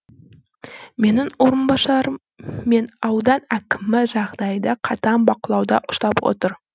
менің орынбасарым мен аудан әкімі жағдайды қатаң бақылауда ұстап отыр